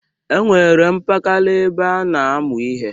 E nwere mpakala ebe a na-amụ ihe.